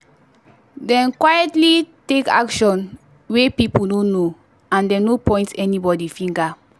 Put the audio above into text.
dem quietly talk action wey people no know and dem no point anybody finger.